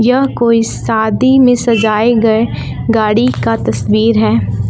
यह कोई शादी में सजाए गए गाड़ी का तस्वीर है।